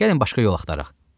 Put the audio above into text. Gəlin başqa yol axtaraq.